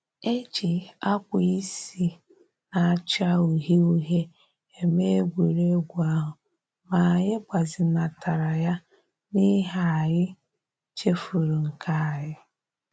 E ji akwa isi na-acha uhie uhie eme egwuregwu ahụ, ma anyị gbazinatara ya n'ihi anyị chefuru nke anyị